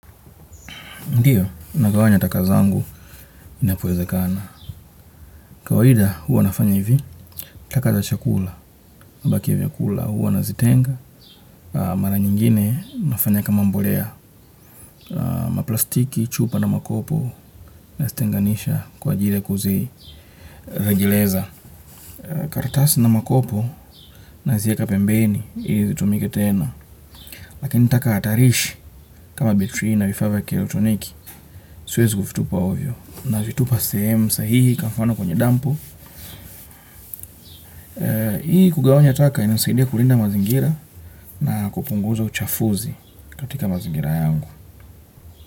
Ndiyo, ninagawanya taka zangu inapo wezekana. Kawaida huwa nafanya hivi, taka za chakula. Imebaki ya vyakula huwa nazitenga. Mara nyingine nafanya kama mbolea. Maplastiki chupa na makopo. Nazitenganisha kwa ajili kuzi. Rejeleza. Karatasi na makopo nazieka pembeni. Hili zitumike tena. Lakini taka hatarishi. Kama betri na vifavya kielectroniki. Siwezi kuvi tupa ovyo. Na vitupa sehemu sahihi kwa mfano kwenye dampu. Hili kugawanya taka inayo saidia kulinda mazingira na kupunguza uchafuzi katika mazingira yangu.